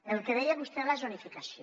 el que deia vostè de la zonificació